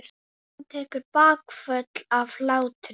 Áfram, segja þær.